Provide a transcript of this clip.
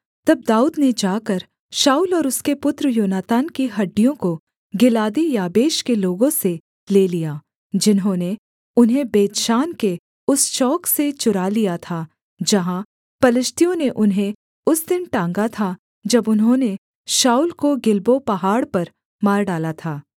तब दाऊद ने जाकर शाऊल और उसके पुत्र योनातान की हड्डियों को गिलादी याबेश के लोगों से ले लिया जिन्होंने उन्हें बेतशान के उस चौक से चुरा लिया था जहाँ पलिश्तियों ने उन्हें उस दिन टाँगा था जब उन्होंने शाऊल को गिलबो पहाड़ पर मार डाला था